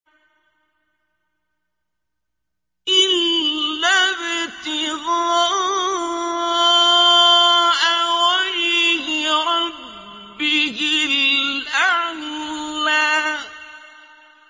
إِلَّا ابْتِغَاءَ وَجْهِ رَبِّهِ الْأَعْلَىٰ